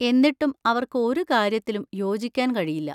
എന്നിട്ടും അവർക്ക് ഒരു കാര്യത്തിലും യോജിക്കാൻ കഴിയില്ല.